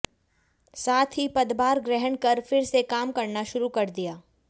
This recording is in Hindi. साथ ही पदभार ग्रहण कर फिर से काम करना शुरू कर दिया